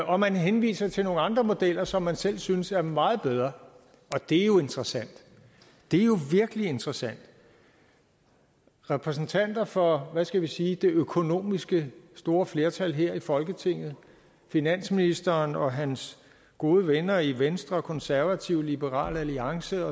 og man henviser til nogle andre modeller som man selv synes er meget bedre og det er jo interessant det er jo virkelig interessant repræsentanter for hvad skal vi sige det økonomiske store flertal her i folketinget finansministeren og hans gode venner i venstre konservative liberal alliance